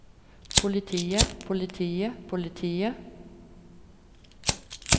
politiet politiet politiet